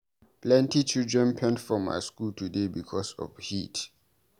Plenty children faint for my skool today because of heat.